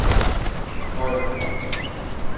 Højer